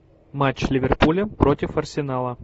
матч ливерпуля против арсенала